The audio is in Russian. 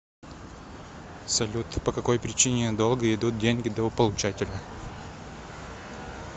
салют по какой причине долго идут деньги до получателя